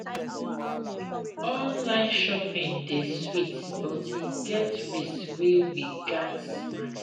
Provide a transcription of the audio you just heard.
Online shopping dey sweet, but e get risk wey we gats manage.